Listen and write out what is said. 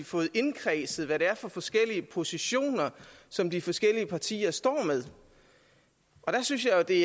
fået indkredset hvad det er for forskellige positioner som de forskellige partier står med og der synes jeg det